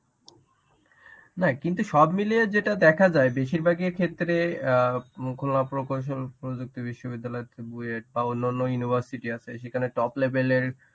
না কিন্তু সব মিলিয়ে যেটা দেখা যায় বেশির ভাগের ক্ষেত্রে অ্যাঁ মুকুলমা প্রকৌশল প্রযুক্তি বিশ্ববিদ্যালয় বা অন্যান্য university আছে সেখানে top level এর